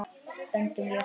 Öndum léttar.